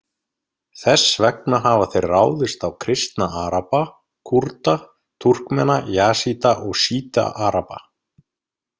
Þess vegna hafa þeir ráðist á kristna araba, Kúrda, Túrkmena, Jasída, og sjíta-araba.